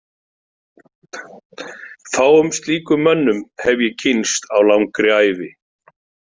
Fáum slíkum mönnum hef ég kynnst á langri ævi.